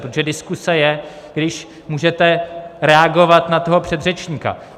Protože diskuze je, když můžete reagovat na toho předřečníka.